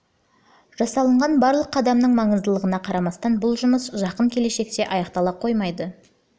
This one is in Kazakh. жасалынған барлық қадамның маңыздылығына қарамастан бұл жұмыс жақын келешекте аяқтала қоймайды